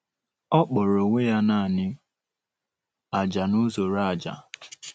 Ọ kpọrọ onwe ya naanị “ ájá na uzọ́ró ájá. ”